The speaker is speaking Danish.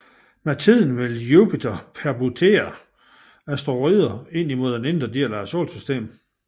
Med tiden vil Jupiter pertubere asteroiderne ind mod den indre del af solsystemet